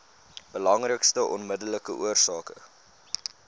belangrikste onmiddellike oorsake